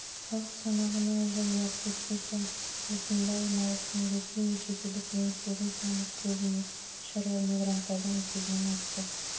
халық санағынан жыл уақыт өткен соң осында орналасқан ресей мен шетелдік немістердің саны көбіне шаруа мигранттардың есебінен артты